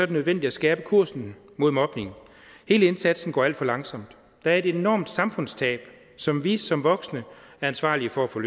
det nødvendigt at skærpe kursen mod mobning hele indsatsen går alt for langsomt der er et enormt samfundstab som vi som voksne er ansvarlige for at få